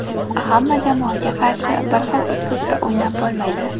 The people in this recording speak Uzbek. Hamma jamoaga qarshi bir xil uslubda o‘ynab bo‘lmaydi.